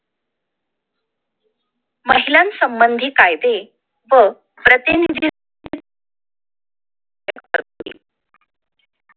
महिलांसंबंधी कायदे व प्रतिनिधी